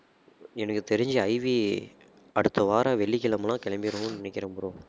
எனக்கு தெரிஞ்சு IV அடுத்தவாரம் வெள்ளிக்கிழமைலாம் கிளம்பிருவோம் நினைக்கிறேன் bro